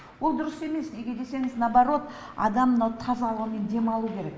ол дұрыс емес неге десеңіз наоборот адам мынау таза ауамен демалу керек